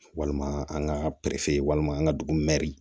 Walima an ka walima an ka dugu mɛ